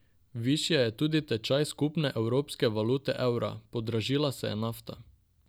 Višje je tudi tečaj skupne evropske valute evra, podražila se je nafta.